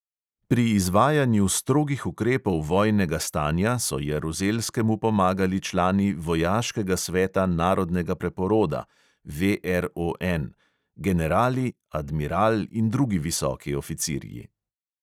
Pri izvajanju strogih ukrepov vojnega stanja so jaruzelskemu pomagali člani vojaškega sveta narodnega preporoda generali, admiral in drugi visoki oficirji.